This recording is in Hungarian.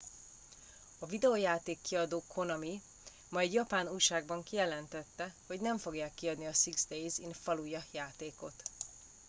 a videojáték kiadó konami ma egy japán újságban kijelentette hogy nem fogják kiadni a six days in fallujah játékot